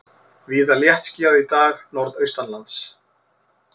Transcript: Víða léttskýjað í dag norðaustanlands